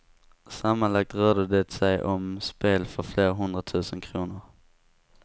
Sammanlagt rörde det sig om spel för flera hundratusen kronor.